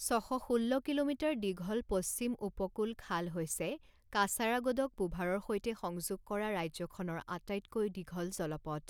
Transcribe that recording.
ছ শ ষোল্ল কিলোমিটাৰ দীঘল পশ্চিম উপকূল খাল হৈছে কাচাৰাগোডক পুভাৰৰ সৈতে সংযোগ কৰা ৰাজ্যখনৰ আটাইতকৈ দীঘল জলপথ।